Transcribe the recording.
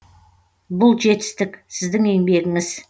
бұл жетістік сіздің еңбегіңіз